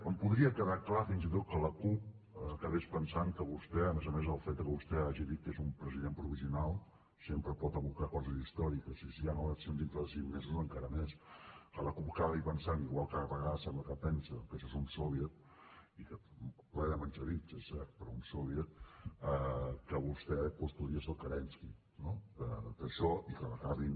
em podria quedar clar fins i tot que la cup acabés pensant que vostè a més a més el fet que vostè hagi dit que és un president provisional sempre pot evocar coses històriques i si han eleccions dintre de cinc mesos encara més que la cup acabi pensant igual que a vegades sembla que pensa que això és un soviet ple de menxevics és cert però un soviet que vostè doncs podria ser el kérenski no d’això i que l’acabin